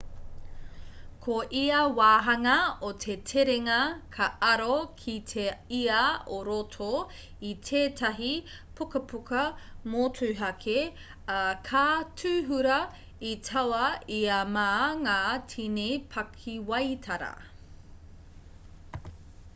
ko ia wāhanga o te terenga ka aro ki te ia o roto i tētahi pukapuka motuhake ā ka tuhura i taua ia mā ngā tini pakiwaitara